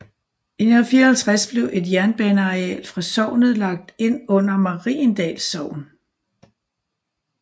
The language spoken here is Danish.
I 1954 blev et jernbaneareal fra sognet lagt ind under Mariendals Sogn